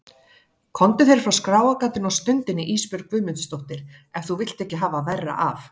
Komdu þér frá skráargatinu á stundinni Ísbjörg Guðmundsdóttir ef þú vilt ekki hafa verra af.